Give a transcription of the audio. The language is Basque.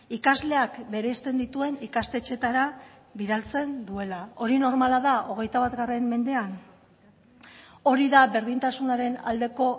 ikasleak bereizten dituen ikastetxeetara bidaltzen duela hori normala da hogeita bat mendean hori da berdintasunaren aldeko